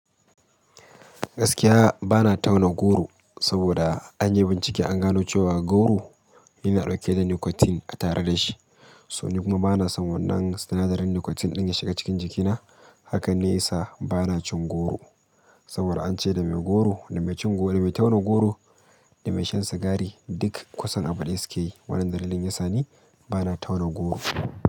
Gaskiya bana tauna goro, saboda an yi bincike an gano cewa goro, yana ɗauke da nicotine a tare da shi. So ni kuma bana son wannan sinadarin nicotine ɗin ya shiga cikin jikina. Hakan ne yasa, bana cin goro. Saboda ance da me goro, da mai cin gor, da me tauna goro da me shan sigari duk kusan abu ɗaya suke yi, wannan dalilin yasa ni, bana tauna goro.